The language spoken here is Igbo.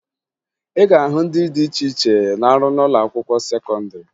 Ị ga-ahụ ndị dị iche iche na-arụ n'ụlọakwụkwọ sekọndịrị